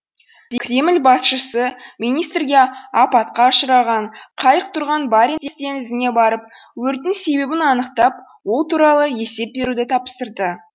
кремль басшысы министрге апатқа ұшыраған қайық тұрған баренц теңізіне барып өрттің себебін анықтап ол туралы есеп беруді тапсырды